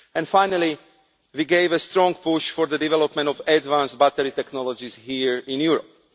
Finally, we gave a strong push for the development of advanced battery technologies here in Europe.